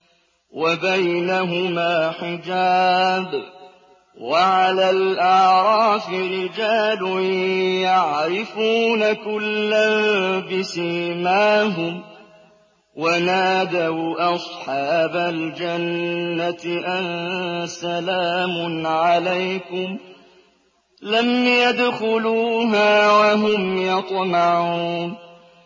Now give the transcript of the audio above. وَبَيْنَهُمَا حِجَابٌ ۚ وَعَلَى الْأَعْرَافِ رِجَالٌ يَعْرِفُونَ كُلًّا بِسِيمَاهُمْ ۚ وَنَادَوْا أَصْحَابَ الْجَنَّةِ أَن سَلَامٌ عَلَيْكُمْ ۚ لَمْ يَدْخُلُوهَا وَهُمْ يَطْمَعُونَ